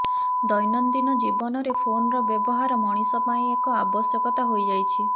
ଦୈନଦିନ ଜୀବନରେ ଫୋନର ବ୍ୟବହାର ମଣିଷ ପାଇଁ ଏକ ଆବଶ୍ୟକତା ହୋଇଯାଇଛି